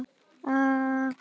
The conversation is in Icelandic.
Þetta kemur bara í ljós.